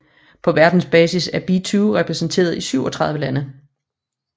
På verdensbasis er be2 repræsenteret i 37 lande